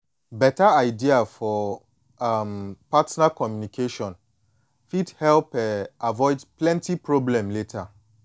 beta idea for um partner communication fit help um avoid beta problem later